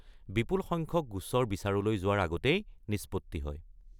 বিপুল সংখ্যক গোচৰ বিচাৰলৈ যোৱাৰ আগতেই নিষ্পত্তি হয়।